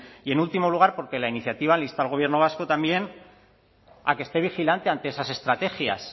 y en último lugar porque la iniciativa le insta al gobierno vasco también a que esté vigilante ante esas estrategias